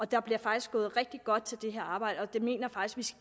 der bliver faktisk gået rigtig godt til det her arbejde og jeg mener faktisk